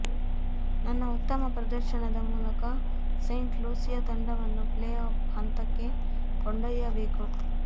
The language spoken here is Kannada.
ನನ್ನ ಉತ್ತಮ ಪ್ರದರ್ಶನದ ಮೂಲಕ ಸೇಂಟ್ ಲೂಸಿಯಾ ತಂಡವನ್ನು ಪ್ಲೇ ಆಫ್ ಹಂತಕ್ಕೆ ಕೊಂಡೊಯ್ಯಬೇಕು